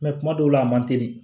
kuma dɔw la a man teli